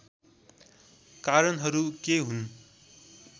कारणहरू के हुन्